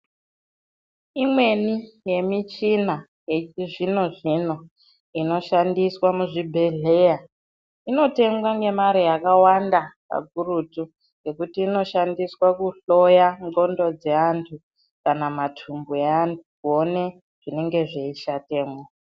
Imweni yemichina yechizvino-zvino inoshandiswa muzvibhedhlera, inotengwa nemari yakawanda kakurutu nokuti inoshandiswa kuhloya nzxondo dzeantu kana matumbu evantu kuone zvinenge zveishatemo.